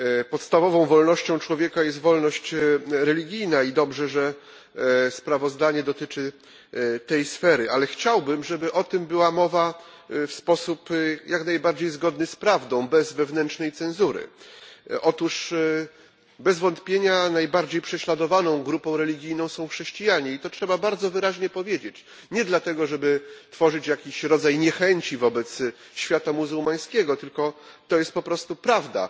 Podstawową wolnością człowieka jest wolność religijna i dobrze, że sprawozdanie dotyczy tej sfery, ale chciałbym, żeby o tym była mowa w sposób jak najbardziej zgodny z prawdą, bez wewnętrznej cenzury. Bez wątpienia najbardziej prześladowaną grupą religijną są chrześcijanie i trzeba to bardzo wyraźnie powiedzieć, lecz nie dlatego, żeby tworzyć jakiś rodzaj niechęci wobec świata muzułmańskiego, tylko dlatego, że jest to prawda.